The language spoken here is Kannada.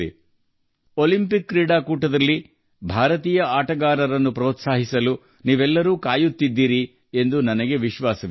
ಈ ಒಲಿಂಪಿಕ್ ಕ್ರೀಡಾಕೂಟದಲ್ಲಿ ಭಾರತೀಯ ಕ್ರೀಡಾಪಟುಗಳನ್ನು ಹುರಿದುಂಬಿಸಲು ನೀವೆಲ್ಲರೂ ಕಾಯುತ್ತಿರುವಿರಿ ಎಂದು ನನಗೆ ಖಾತ್ರಿಯಿದೆ